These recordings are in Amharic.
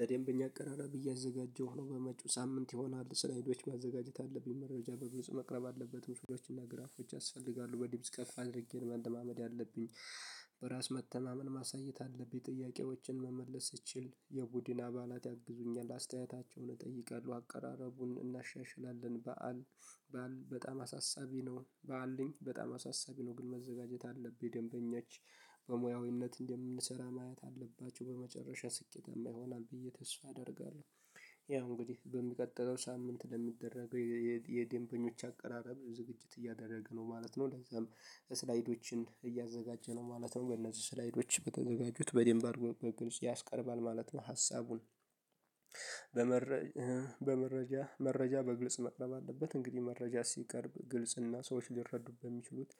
ለደንበኛ አቀራረብ እያዘጋጀሁ ነው በመጪው ሳምንት ይሆናል ስላይዶች ማዘጋጀት አለብኝ መረጃ በመጨረሻ መቅረብ አለበት ምስሎችና እና ግራፎች ያስፈልጋሉ በድምጽ ከፍ አድርጌ ለመለማመድ አለብኝ። በራስ መተማመን ማሳየት አለብኝ ጥያቄዎችን መመለስ ስትችል የቡድን አባላት ያግዙኛል አስተያየታቸውን እጠይቃለሁ አቀራረቡን እናሻሽላለን በዓል በዓል በጣም አሳሳቢ ነው በዓልኝ በጣም አሳሳቢ ነው ግን መዘጋጀት አለብኝ ደንበኛች በሙያዊነት እንደምንሰራ ማየት አለባቸው በመጨረሻ ስኬታማ ይሆናል ብዬ ተስፋ አደርጋለሁ። ያው እንግዲህ በሚቀጥለው ሳምንት ለሚደረገው የዴንበኞች አቀራረብ ዝግጅት እያደረገ ነው ማለት ነው። ለዛም ስላይዶችን እያዘጋጀ ነው ማለት ነው። በነዚህ ስላይዶች በተዘጋጁት በደንብ አድርጎ በግልጽ ያስቀርባል ማለት ነው። ሀሳቡን በመረጃ መረጃ በግልጽ መቅረብ አለበት እንግዲህ መረጃ ሲቀርብ ግልጽና ሰዎች ሊረዱብህ የሚችሉት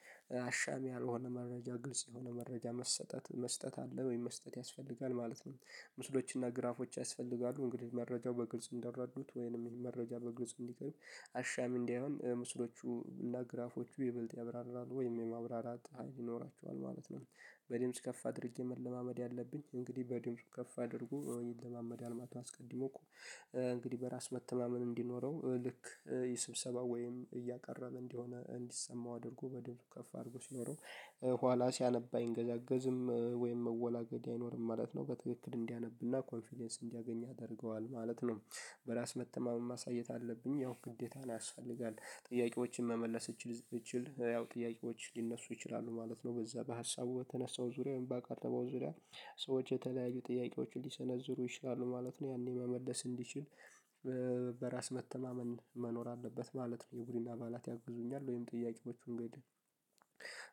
አሻሚ ያልሆነ መረጃ ግልጽ የሆነ መረጃ መሰጠት መስጠት አለ ወይም መስጠት ያስፈልጋል ማለት ነው። ምስሎችና ግራፎች ያስፈልጋሉ እንግዲህ መረጃው በግልጽ እንዳረዱት ወይንም መረጃ በግልጽ እንዲቀርብ አሻሚ እንዳይሆን ምስሎቹ እና ግራፎቹ ይበልጥ ያብራራል ወይም የማብራራት ሀይል ይኖራቸዋል ማለት ነው። በድምጽ ከፍ አድርጌ መለማመድ አለብኝ እንግዲህ በድምጽ ከፍ አድርጎ ወይም ይለማመዳል ማለት ነው። አስቀድሞ እኮ እንግዲህ በራስ መተማመን እንዲኖረው ልክ የስብሰባው ወይም እያቀረበ እንዲሆነ እንዲሰማው አድርጎ በደምብ ከፍ አድርጎ ሲኖረው። ኋላ ሲያነባ አይንገዛገዝም ወይም መወላገድ አይኖርም ማለት ነው። በትክክል እንዲያነብና ኮንፊደንስ እንዲያገኝ ያደርገዋል ማለት ነው። በራስ መተማመን ማሳየት አለብኝ ያው ግዴታ ነው ያስፈልጋል። ጥያቄዎችን መመለስ እችል። ያው ጥያቄዎች ሊነሱ ይችላሉ ማለት ነው በዛ በሀሳቡ በተነሳው ዙሪያውን ባካተበው ዙሪያ ሰዎች የተለያዩ ጥያቄዎችን ሊሰነዝሩ ይችላሉ ማለት ነው ያኔ መመለስ እንዲችል። በራስ መተማመን መኖር አለበት ማለት ነው። የቡድን አባላት ያግዙኛል ወይም ጥያቄዎቹን እንግዲህ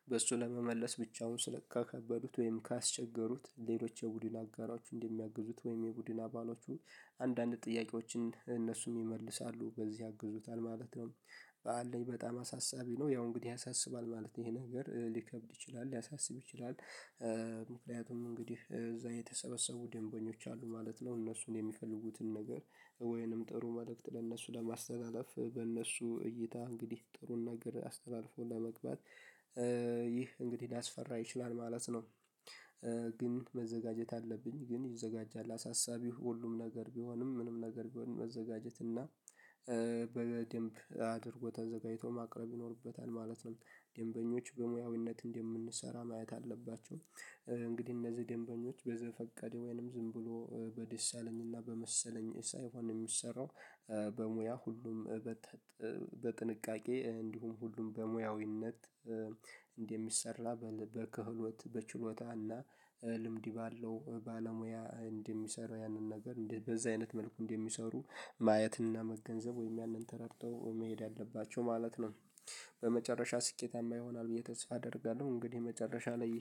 በሱ ለመመለስ ብቻውን ስለ ከከበዱት ወይም ካስቸገሩት ሌሎች የቡድን አጋሮቹ እንደሚያግዙት ወይም የቡድን አባሎቹ አንዳንድ ጥያቄዎችን እነሱም ይመልሳሉ በዚህ ያግዙታል ማለት ነው። በዓል ላይ በጣም አሳሳቢ ነው ያው እንግዲህ ያሳስባል ማለት ነው ይሄ ነገር ሊከብድ ይችላል ሊያሳስብ ይችላል። ምክንያቱም እንግዲህ እዛ የተሰበሰቡ ደንበኞች አሉ ማለት ነው። እነሱን የሚፈልጉትን ነገር ወይንም ጥሩ መልእክት ለእነሱ ለማስተናገፍ በእነሱ እይታ እንግዲህ ጥሩን ነገር አስተላልፎ ለመግባት። ይህ እንግዲህ ሊያስፈራ ይችላል ማለት ነው። ግን መዘጋጀት አለብኝ ግን ይዘጋጃል አሳሳቢው ሁሉም ነገር ቢሆንም ምንም ነገር ቢሆን መዘጋጀት እና። በደምብ አድርጎ ተዘጋጅቶ ማቅረብ ይኖርበታል ማለት ነው። ደንበኞች በሙያዊነት እንደምንሰራ ማየት አለባቸው። እንግዲህ እነዚህ ደንበኞች በዘፈቀደ ወይንም ዝም ብሎ በደስ ያለኝና በመሰለኝ ሳይሆን የሚሰራው በሙያ ሁሉም በጥንቃቄ እንዲሁም ሁሉም በሙያዊነት። እንደሚሰራ በልበ ክህሎት በችሎታና ልምድ ባለው ባለሙያ እንደሚሰራ ያንን ነገር በዛ አይነት መልኩ እንደሚሰሩ ማየትና መገንዘብ ወይም ያንን ተረድተው መሄድ አለባቸው ማለት ነው። በመጨረሻ ስኬታማ ይሆናል ብዬ ተስፋ አደርጋለሁ። እንግዲህ መጨረሻ ላይ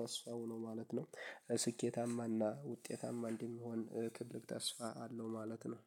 ተስፋው ነው ማለት ነው። ስኬታማና ውጤታማ እንዲሆን ትልቅ ተስፋ አለው ማለት ነው